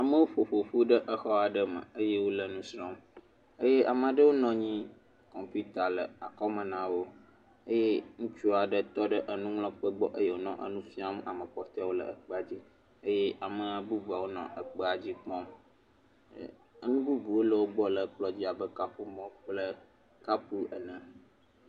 Ame aɖewo ƒoƒu ɖe exɔ aɖe me. Ame aɖewo nɔ anyi. Kɔmpita le akɔme na wò eye ŋutsu aɖe tɔ ɖe anyi nɔ enu fiam ame kpɔteawo le akpa dzi eye ame bubuwo nɔ ekpea dzi kpɔm. Enu bubuwo le wogbɔ le ekplɔ dzi abe nuƒomɔ kple kɔpu ene.